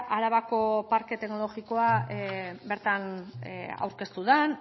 arabako parke teknologikoa bertan aurkeztu den